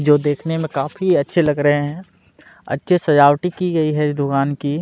जो देखने में काफी अच्छे लग रहे है अच्छे सजावाटी की गई है दुकान की--